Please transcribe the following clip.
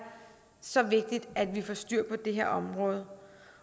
så vigtigt at vi får styr på det her område